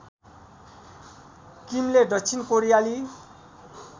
किमले दक्षिण कोरियाली